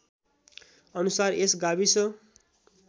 अनुसार यस गाविस